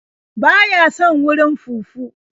Ba ya son warin fufu.